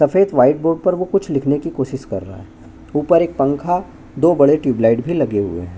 सफ़ेद white board पर वह कुछ लिखने की कोशिश कर रहा है ऊपर एक पंखा दो बड़े ट्यूब लाइट भी लगे हुए है।